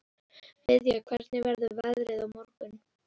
Viðja, hvernig verður veðrið á morgun?